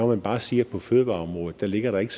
man bare sige at på fødevareområdet ligger der ikke